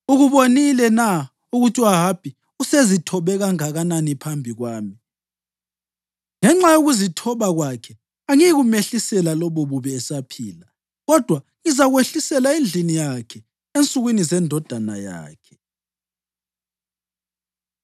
“Ukubonile na ukuthi u-Ahabi usezithobe kanganani phambi kwami? Ngenxa yokuzithoba kwakhe, angiyikumehlisela lobobubi esaphila, kodwa ngizakwehlisela endlini yakhe ensukwini zendodana yakhe.”